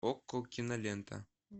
окко кинолента